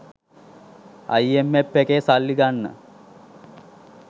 IMF එකේ සල්ලි ගන්න